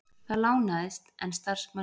Það lánaðist, en starfsmanni